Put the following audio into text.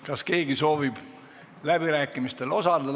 Kas keegi soovib läbirääkimistel osaleda?